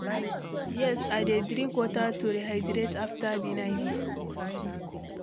yes, i dey drink water to rehydrate after di night.